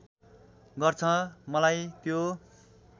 गर्छ मलाई त्यो